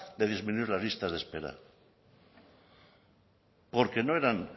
de disminuir las listas de espera porque no eran